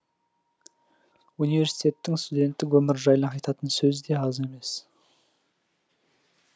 университеттің студенттік өмірі жайлы айтатын сөз де аз емес